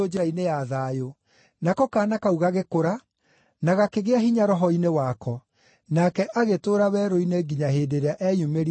Nako kaana kau gagĩkũra, na gakĩgĩa hinya roho-inĩ wako; nake agĩtũũra werũ-inĩ nginya hĩndĩ ĩrĩa eyumĩririe kũrĩ andũ a Isiraeli.